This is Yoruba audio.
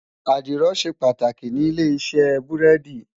Àdìrò ṣé pàtákí ni ilé-isè búrèdí